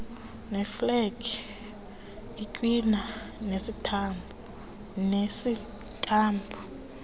neeflegi itywina enesitampu